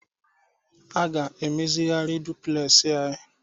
A ga-emezigharị dupulesị anyị.